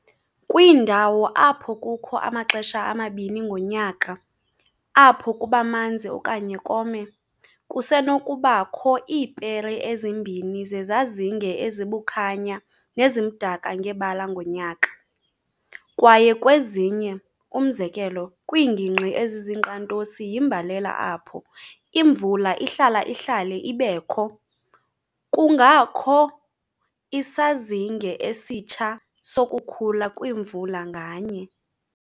Kwiindawo apho kukho amaxesha amabini ngonyaka apho kubamanzi okanye kome, kusenokuba kho iipere ezimbini zezazinge ezibukhanya nezimdaka ngebala ngonyaka, kwaye kwezinye, umzekelo, kwiingingqi ezizinkqantosi yimbalela apho imvula ihlala-ihlale ibekho, kungakho isazinge esitsha sokukhula kwimvula nganye.